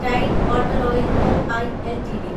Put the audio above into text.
Tide water oil co (I) LTD